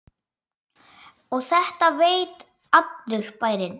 Og þetta veit allur bærinn?